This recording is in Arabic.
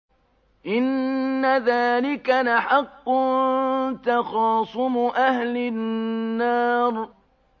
إِنَّ ذَٰلِكَ لَحَقٌّ تَخَاصُمُ أَهْلِ النَّارِ